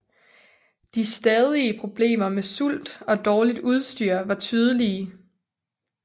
De stadige problemer med sult og dårligt udstyr var tydelige